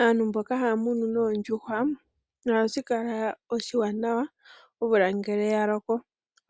Aantu mboka haya munu noondjuhwa, ohashi kala oshiwanawa omvula ngele yaloko